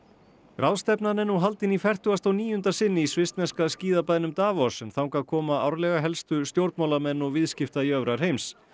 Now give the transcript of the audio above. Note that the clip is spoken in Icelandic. ráðstefnan er nú haldin í fertugasta og níunda sinn í svissneska skíðabænum Davos en þangað koma árlega helstu stjórnmálamenn og viðskiptajöfrar heims